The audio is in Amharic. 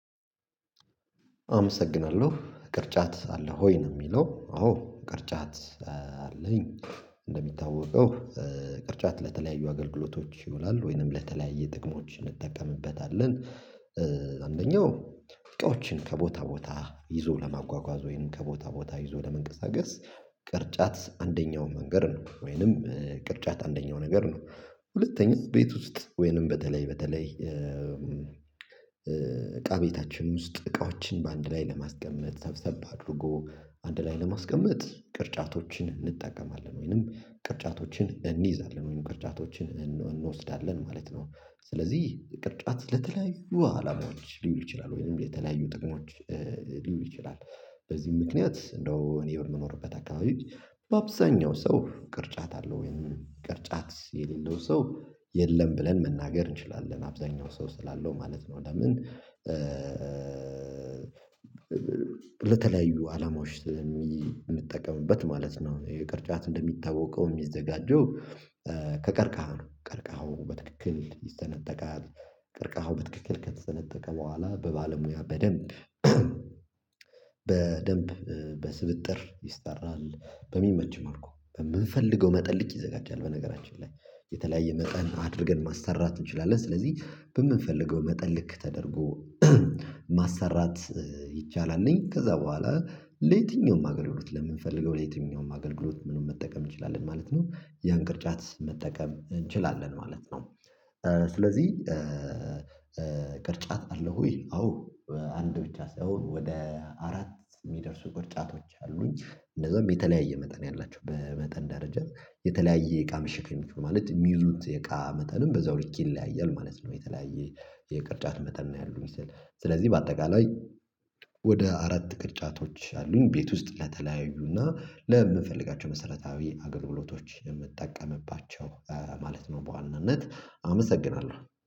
አመሰግናለሁ ቅርጫት አለ ወይ ነው? የሚለው አዎ ቅርጫት አለኝ እንደሚታወቀው ቅርጫት ለተለያዩ አገልግሎቶች ይውላል ወይንም ለተለያየ ጥቅሞች እንጠቀምበታለን። አንደኛው እቃዎችን ከቦታ ቦታ ይዞ ለማጓጓዝ ወይንም ከቦታ ቦታ ይዞ ለመንቀሳቀስ ቅርጫት አንደኛው መንገድ ነው ወይንም ቅርጫት አንደኛው ነገር ነው። ሁለተኛ ቤት ውስጥ ወይንም በተለይ በተለይ እቃ ቤታችን ውስጥ እቃዎችን በአንድ ላይ ለማስቀመጥ ሰብሰብ አድርጎ አንድ ላይ ለማስቀመጥ ቅርጫቶችን እንጠቀማለን ወይንም ቅርጫቶችን እንይዛለን ወይንም ቅርጫቶችን እንወስዳለን ማለት ነው። ስለዚህ ቅርጫት ለተለያዩ አላማዎች ሊውሉ ይችላሉ ወይም የተለያዩ ጥቅሞች ሊውሉ ይችላሉ። በዚህ ምክንያት እንደው እኔ በምኖርበት አካባቢ በአብዛኛው ሰው ቅርጫት አለው ወይም ቅርጫት የሌለው ሰው የለም ብለን መናገር እንችላለን አብዛኛው ሰው ስላለው ማለት ነው። ለምን ለተለያዩ አላማዎች የምንጠቀምበት ማለት ነው። የቅርጫት እንደሚታወቀው የሚዘጋጀው ከቀርቃሃው ቀርቃሃው በትክክል ይሰነጠቃል። ቅርቃሃው በትክክል ከተጠነጠቀ በኋላ በባለሙያ በደንብ በደንብ በስብጥር ይሰራል በሚመች መልኩ በምንፈልገው መጠን ልክ ይዘጋጃል። በነገራችን ላይ የተለያየ መጠን አድርገን ማሰራት እንችላለን። ስለዚህ በምንፈልገው መጠን ልክ ተደርጎ ማሰራት ይቻላል። ከዛ በኋላ ለየትኛውም አገልግሎት ለምንፈልገው ለየትኛውም አገልግሎት ምንም መጠቀም እንችላለን ማለት ነው። ያን ቅርጫት መጠቀም እንችላለን ማለት ነው። ስለዚህ ቅርጫት አለህ ወይ? አዎ አንድ ብቻ ሳይሆን ወደ አራት የሚደርሱ ቅርጫቶች አሉኝ። እንደዛም የተለያየ መጠን ያላቸው በመጠን ደረጃ የተለያየ እቃ መሸከም የሚችሉት ማለት የሚይዙት የቃ መጠንም በዛው ልክ ይለያያል ማለት ነው። የተለያየ የቅርጫት መጠን ነው ያሉኝ ስል ስለዚህ በአጠቃላይ ወደ አራት ቅርጫቶች አሉኝ። ቤት ውስጥ ለተለያዩና ለምንፈልጋቸው መሰረታዊ አገልግሎቶች የምጠቀምባቸው ማለት ነው። በዋናነት አመሰግናለሁ